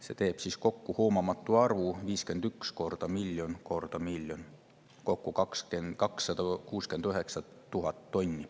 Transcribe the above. See teeb kokku hoomamatu arvu: 51 korda miljon korda miljon – kokku 269 000 tonni.